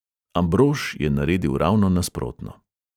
Ambrož je naredil ravno nasprotno.